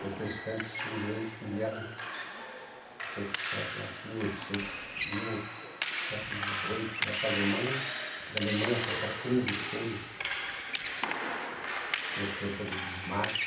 Protestantes ingleses que vieram, não sei que século, mil e oitocentos, mil, século dezoito, lá para a Alemanha, da Alemanha com essa crise que teve no tempo do Bismarck.